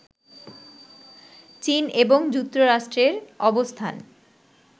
চীন এবং যুক্তরাষ্ট্রের অবস্থান